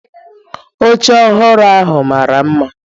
Oche ọhụrụ ahụ mara mma